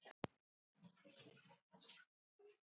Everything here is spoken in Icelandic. Tjónið fæst ekki bætt.